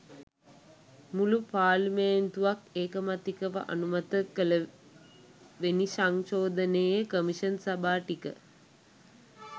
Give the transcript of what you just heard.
මුළු පාර්ලිමේන්තුවක් ඒකමතිකව අනුමත කළවෙනි සංශෝධනයේ කොමිෂන් සභා ටික